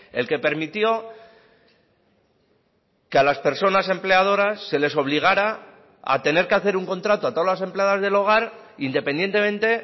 el que permitió que a las personas empleadoras se les obligara a tener que hacer un contrato a todas las empleadas del hogar independientemente